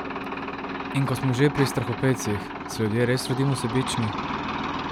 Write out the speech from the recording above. In ko smo že pri strahopetcih, se ljudje res rodimo sebični?